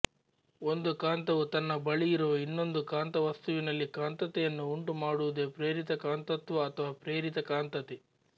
ಒಂದು ಕಾಂತವು ತನ್ನ ಬಳಿಯಿರುವ ಇನ್ನೊಂದು ಕಾಂತ ವಸ್ತುವಿನಲ್ಲಿ ಕಾಂತತೆಯನ್ನು ಉಂಟು ಮಾಡುವುದೇ ಪ್ರೇರಿತ ಕಾಂತತ್ವ ಅಥವಾ ಪ್ರೇರಿತ ಕಾಂತತೆ